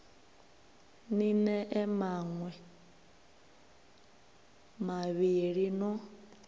ni ḽee maṋwe mavhili no